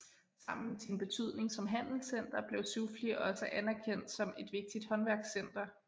Sammen med sin betydning som handelscenter blev Soufli også anerkendt som et vigtigt håndværkscenter